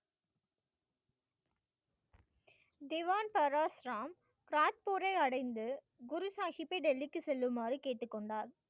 திவான் பாரஸ்ராம் கிராத்பூரை அடைந்து குரு சாஹிப்பை டெல்லிக்கு செல்லுமாறு கேட்டுக்கொண்டார்